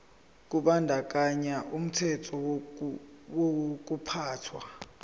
kubandakanya umthetho wokuphathwa